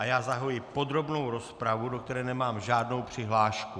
A já zahajuji podrobnou rozpravu, do které nemám žádnou přihlášku.